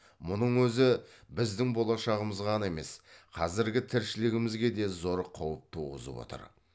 мұның өзі біздің болашағымызға ғана емес қазіргі тіршілігімізге де зор қауіп туғызып отыр